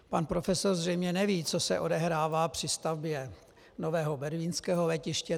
Pan profesor zřejmě neví, co se odehrává při stavbě nového berlínského letiště.